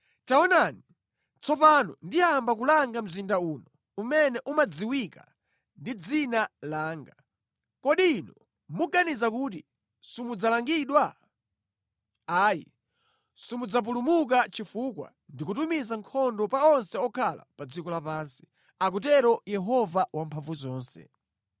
Taonani, tsopano ndiyamba kulanga mzinda uno umene umadziwika ndi dzina langa. Kodi inu muganiza kuti simudzalangidwa? Ayi, simudzapulumuka chifukwa ndikutumiza nkhondo pa onse okhala pa dziko lapansi, akutero Yehova Wamphamvuzonse.